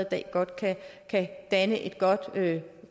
dag godt kan danne et godt